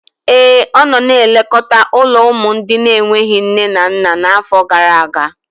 Ee, ọ nọ na-elekọta ụlọ ụmụ ndị na-enweghị nne na nna n'afọ gara aga.